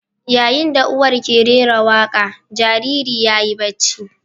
Yayin da uwar ke rera waƙa, jariri yayi bacci.